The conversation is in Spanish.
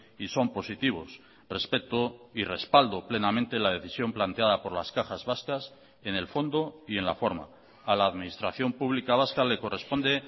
y son positivos respeto y respaldo plenamente la decisión planteada por las cajas vascas en el fondo y en la forma a la administración pública vasca le corresponde